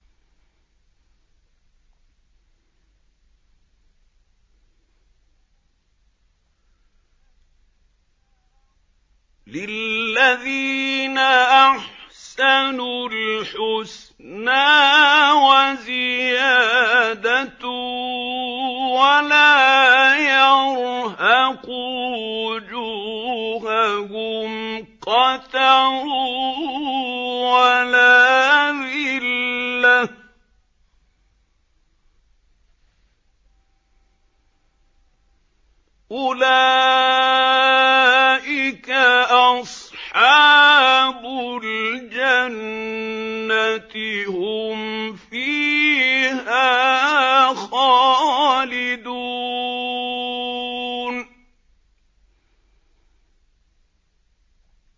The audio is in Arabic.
۞ لِّلَّذِينَ أَحْسَنُوا الْحُسْنَىٰ وَزِيَادَةٌ ۖ وَلَا يَرْهَقُ وُجُوهَهُمْ قَتَرٌ وَلَا ذِلَّةٌ ۚ أُولَٰئِكَ أَصْحَابُ الْجَنَّةِ ۖ هُمْ فِيهَا خَالِدُونَ